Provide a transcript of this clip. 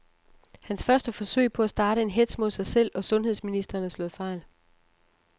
Hans første forsøg på at starte en hetz mod sig selv og sundheds ministeren er slået fejl.